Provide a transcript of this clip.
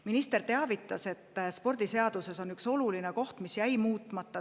Minister teavitas, et seaduses on üks oluline koht, mis jäi muutmata.